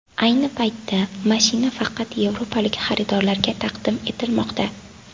Ayni paytda mashina faqat yevropalik xaridorlarga taqdim etilmoqda.